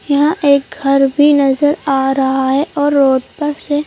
यहां एक घर भी नजर आ रहा है और रोड पर से--